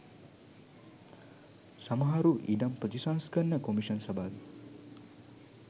සමහරු ඉඩම් ප්‍රතිසංස්කරණ කොමිෂන් සභාවෙ